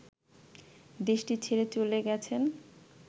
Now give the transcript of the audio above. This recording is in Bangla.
দেশটি ছেড়ে চলে গেছেন